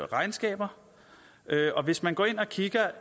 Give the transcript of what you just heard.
regnskaber og hvis man går ind og kigger